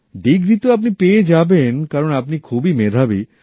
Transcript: degree তো আপনি পেয়ে যাবেন কারণ আপনি খুবই মেধাবি